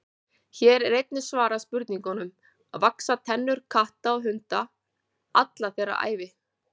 Hér er einnig svarað spurningunum: Vaxa tennur katta og hunda alla þeirra ævi?